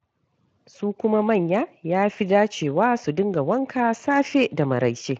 Su kuma manya ya fi da cewa su dinga wanka safe da maraice.